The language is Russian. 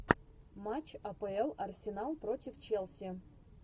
матч апл арсенал против челси